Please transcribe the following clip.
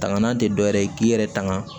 Tanganan te dɔwɛrɛ ye k'i yɛrɛ tanga